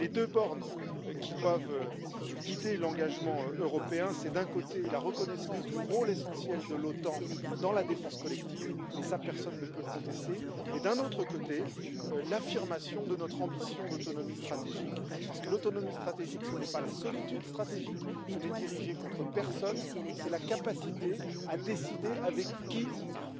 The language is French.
Les deux bornes qui doivent guider l'engagement européen sont, d'un côté, la reconnaissance du rôle essentiel de l'OTAN dans la défense collective et cela personne ne peut le contester et, d'un autre côté, l'affirmation de notre ambition d'autonomie stratégique, parce que l'autonomie stratégique, ce n'est pas la solitude stratégique, ce n'est dirigé contre personne, mais c'est la capacité à décider avec qui nous